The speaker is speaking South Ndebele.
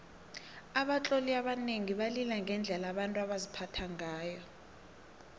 abatloli abanengi balila ngendlela abantu baziphatha ngayo